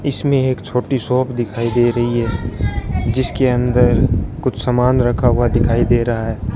इसमें एक छोटी शॉप दिखाई दे रही है जिसके अंदर कुछ सामान रखा हुआ दिखाई दे रहा है।